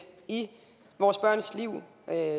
i vores børns liv